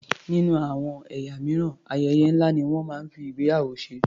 Nínú àwọn ẹ̀yà mìíràn, ayẹyẹ ńlá ni wọ́n máa ń fi ìgbéyàwó ṣe.